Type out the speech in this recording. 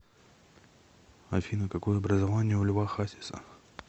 афина какое образование у льва хасиса